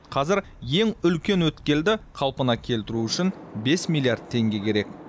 қазір ең үлкен өткелді қалпына келтіру үшін бес миллиард теңге керек